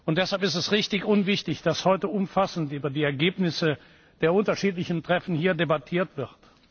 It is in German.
Deshalb ist es richtig und wichtig, dass heute umfassend über die Ergebnisse der unterschiedlichen Treffen debattiert wird.